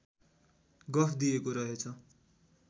गफ दिएको रहेछ